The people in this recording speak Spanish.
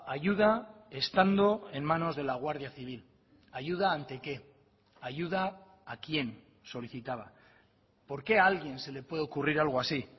ayuda estando en manos de la guardia civil ayuda ante qué ayuda a quién solicitaba por qué a alguien se le puede ocurrir algo así